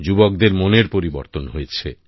যুবদের মনের পরিবর্তন হয়েছে